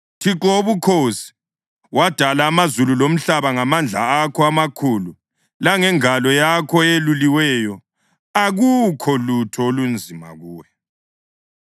Thixo Wobukhosi, wadala amazulu lomhlaba ngamandla akho amakhulu langengalo yakho eyeluliweyo. Akukho lutho olunzima kuwe.